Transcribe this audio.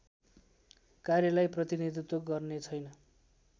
कार्यलाई प्रतिनीधित्व गर्नेछैन